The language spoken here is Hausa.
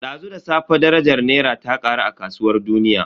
Dazu da safe darajar Naira ta karu a kasuwar duniya.